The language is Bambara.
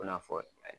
I n'a fɔ